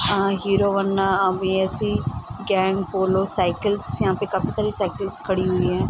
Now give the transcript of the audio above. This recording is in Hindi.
आ हीरो वन्ना अ बी.एस.इ. गैंग पोलो साइकल्स यहाँ पे काफी सारी साइकल्स खड़ी हुई है ।